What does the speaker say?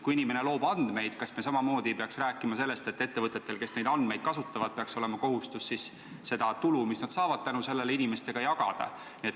Kui inimene loob andmeid, kas me ei peaks samamoodi rääkima sellest, et ettevõtetel, kes neid andmeid kasutavad, peaks olema kohustus seda tulu, mis nad tänu sellele saavad, inimestega jagada?